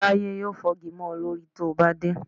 Táyé yóò fọ́gi mọ́ ọ lórí tí o bá dé